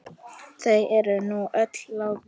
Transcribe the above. Þau eru nú öll látin.